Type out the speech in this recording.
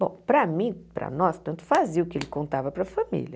Bom, para mim, para nós, tanto fazia o que ele contava para a família.